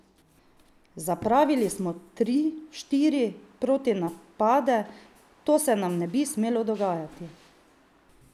Zapravili smo tri, štiri protinapade, to se nam ne bi smelo dogajati.